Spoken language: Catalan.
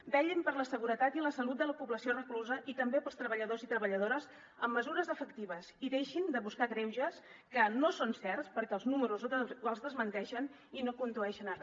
vetllin per la seguretat i la salut de la població reclusa i també pels treballadors i treballadores amb mesures efectives i deixin de buscar greuges que no són certs perquè els números els desmenteixen i no condueixen a re